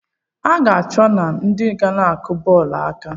I ga-achọ I na ndị na-akụ bọọlụ aka?